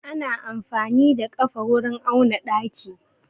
Ana amfani da ƙafa wurin auna ɗaki.